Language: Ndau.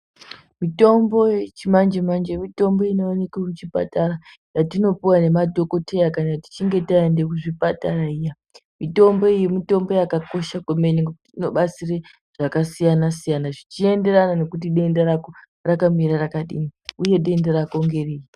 Mitombo yechimanje manje mitombo inowanikwa kuchipatara dzatinopuwa nemadhokoteya kana tichinge taenda kuzvipatara mitombo iyi mitombo yakakosha kwemene inobatsira zvakasiyana siyana zvichienderana kuti denda rako rakamira rakadi uye denda rako ngeripi.